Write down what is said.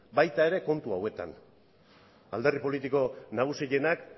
baita ere kontu hauetan alderdi politiko nagusienak